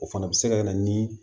O fana bɛ se ka na ni